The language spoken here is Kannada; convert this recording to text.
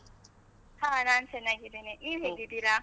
ಹಾ ನಾನು ಚೆನ್ನಾಗಿದ್ದೇನೆ, ನೀವ್ ಹೇಗಿದ್ದೀರಾ?